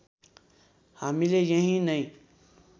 हामीले यहीँ नै